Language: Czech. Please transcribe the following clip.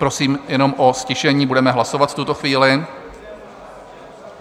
Prosím jenom o ztišení, budeme hlasovat v tuto chvíli.